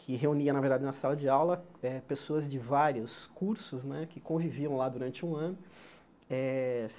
que reunia, na verdade, na sala de aula eh, pessoas de vários cursos né que conviviam lá durante um ano. Eh